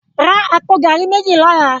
Rá àpó gàrí méji lòlá